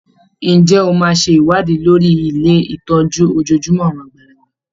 Ǹjẹ́ o máa ṣe ìwádìí lórí ilé ìtọ́jú ojojúmọ́ àwọn àgbàlagbà?